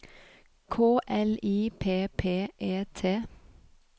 K L I P P E T